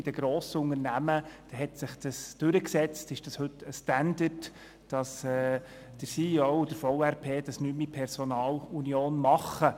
Bei den Grossunternehmen hat es sich durchgesetzt und entspricht heute dem Standard, dass der CEO und der Verwaltungsratspräsident nicht mehr in Personalunion auftreten.